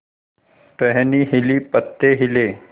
टहनी हिली पत्ते हिले